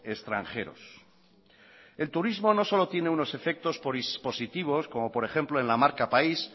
extranjeros el turismo no solo tiene unos efectos positivos como por ejemplo en la marca país